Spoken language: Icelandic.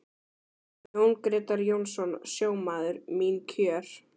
Jón Grétar Jónsson, sjómaður: Mín kjör?